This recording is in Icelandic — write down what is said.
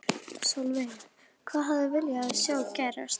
Sólveig: Hvað hefði viljað sjá gerast?